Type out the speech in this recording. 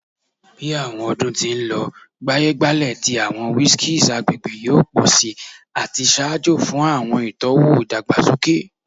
Bi awọn ọdun ti n lọ, gbaye-gbale ti awọn whiskeys agbegbe yoo pọ si ati ṣaajo fun awọn itọwo idagbasoke.